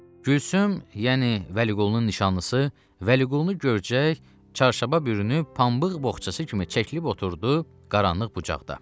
Gülsüm, yəni Vəliqulunun nişanlısı, Vəliqulunu görcək, çarşaba bürünüb, pambıq boğçası kimi çəkilib oturdu qaranlıq bucaqda.